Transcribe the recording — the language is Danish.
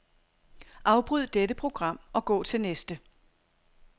Afbryd dette program og gå til næste.